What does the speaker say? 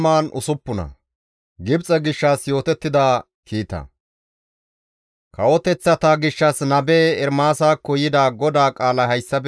Kawoteththata gishshas nabe Ermaasakko yida GODAA qaalay hayssafe kaalli dizayssa;